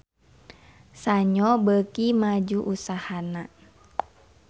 Sanyo beuki maju usahana